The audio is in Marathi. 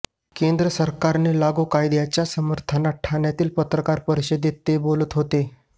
केंद्र सरकारने लागू कायद्याच्या समर्थनार्थ ठाण्यातील पत्रकार परिषदेते ते बोलत होते